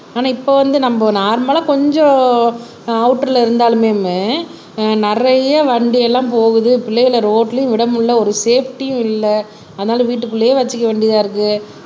ஆனா இப்ப வந்து நம்ம நார்மலா கொஞ்சம் அவுட்டர்ல இருந்தாலுமே ஆஹ் நிறைய வண்டி எல்லாம் போகுது பிள்ளைகளை ரோடுலயும் விட முடியலை ஒரு சேஃப்ட்டியும் இல்லை ஆனாலும் வீட்டுக்குள்ளேயே வச்சுக்க வேண்டியதா இருக்கு